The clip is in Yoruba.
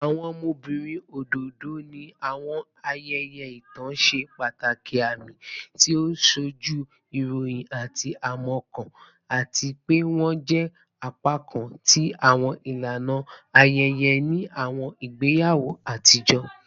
Awọn ọmọbirin ododo ni awọn ayẹyẹ itan ṣe pataki aami, ti o nsoju irọyin ati aimọkan, ati pe wọn jẹ apakan ti awọn ilana ayẹyẹ ni awọn igbeyawo atijọ